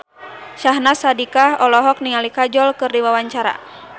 Syahnaz Sadiqah olohok ningali Kajol keur diwawancara